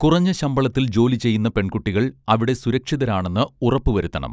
കുറഞ്ഞ ശമ്പളത്തിൽ ജോലി ചെയ്യുന്ന പെൺകുട്ടികൾ അവിടെ സുരക്ഷിതരാണെന്ന് ഉറപ്പു വരുത്തണം